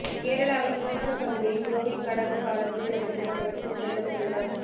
கேரளாவில் மூணாறு பகுதியில் கோவில் கடவு பாலத்தை உடைக்கும் அளவிற்கு செல்லும் வெள்ளம்